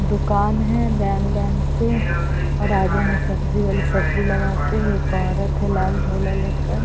दुकान है line line से और आगे में सब्जी वाली सब्जी लगा के एक औरत है लाल झोला लेकर--